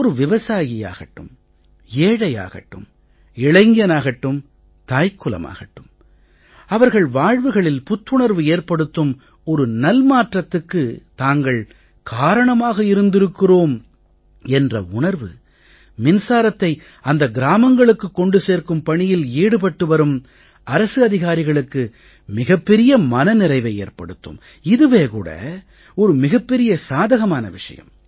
ஒரு விவசாயியாகட்டும் ஏழையாகட்டும் இளைஞனாகட்டும் தாய்க்குலமாகட்டும் அவர்கள் வாழ்வுகளில் புத்துணர்வு ஏற்படுத்தும் ஒரு நல்மாற்றத்துக்குத் தாங்கள் காரணமாக இருந்திருக்கிறோம் என்ற உணர்வு மின்சாரத்தை அந்த கிராமங்களுக்குக் கொண்டு சேர்க்கும் பணியில் ஈடுபட்டு வரும் அரசு அதிகாரிகளுக்கு மிகப் பெரிய மன நிறைவை ஏற்படுத்தும் இதுவே கூட ஒரு மிகப் பெரிய சாதகமான விஷயம்